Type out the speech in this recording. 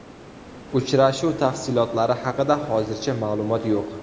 Uchrashuv tafsilotlari haqida hozircha ma’lumot yo‘q.